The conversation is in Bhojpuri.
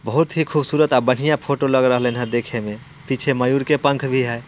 बहुत ही खुबसूरत आ बढ़ियाँ फोटो लग रहलीय देखे में पीछे मयूर के पंख भी है।